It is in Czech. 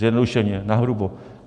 Zjednodušeně, nahrubo.